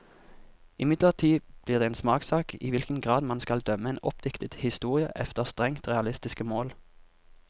Imidlertid blir det en smakssak i hvilken grad man skal dømme en oppdiktet historie efter strengt realistiske mål.